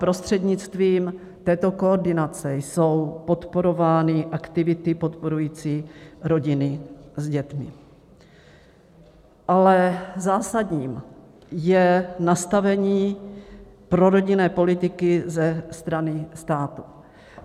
Prostřednictvím této koordinace jsou podporovány aktivity podporující rodiny s dětmi, ale zásadní je nastavení prorodinné politiky ze strany státu.